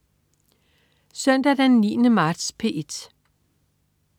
Søndag den 9. marts - P1: